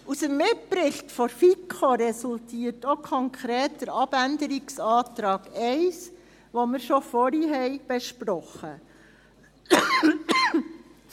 Aus dem Mitbericht der FiKo resultierte auch konkret der Abänderungsantrag 1, den wir schon vorhin besprochen haben.